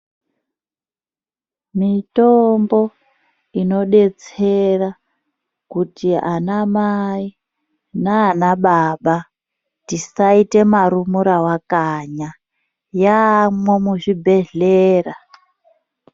Mitombo inodetsera kuti anamai nana baba tisaite marumuravakanya yaamwo muzvibhedhlera.